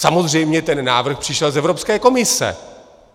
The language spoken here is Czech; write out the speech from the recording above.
Samozřejmě ten návrh přišel z Evropské komise.